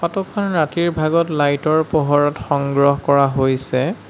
Photo খন ৰাতিৰ ভাগত লাইট ৰ পোহৰত সংগ্ৰহ কৰা হৈছে।